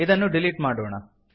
ಇದನ್ನು ಡಿಲೀಟ್ ಮಾಡೋಣ